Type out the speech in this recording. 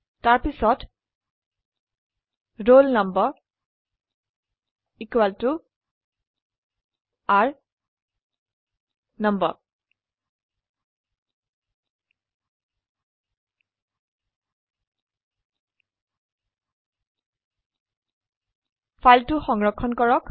তাৰপিছত roll number r number ফাইলটি সংৰক্ষণ কৰক